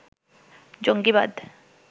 জঙ্গীবাদ